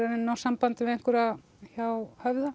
að ná sambandi við einhverja hjá Höfða